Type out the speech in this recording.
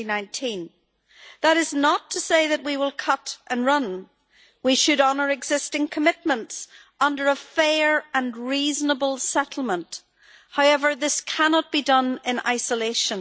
2019. That is not to say that we will cut and run we should honour existing commitments under a fair and reasonable settlement. However, this cannot be done in isolation.